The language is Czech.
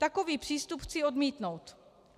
Takový přístup chci odmítnout.